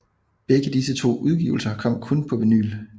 Begge disse to udgivelser kom kun på vinyl